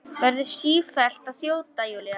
Verður sífellt að þjóta, Júlía.